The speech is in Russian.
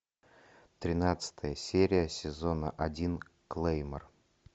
тринадцатая серия сезона один клеймор